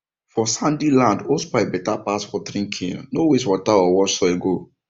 for sandy land hosepipe better pass watering cane no waste water or wash soil go